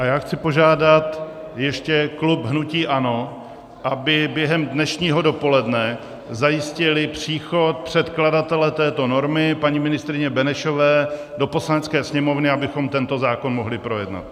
A já chci požádat ještě klub hnutí ANO, aby během dnešního dopoledne zajistili příchod předkladatele této normy paní ministryně Benešové do Poslanecké sněmovny, abychom tento zákon mohli projednat.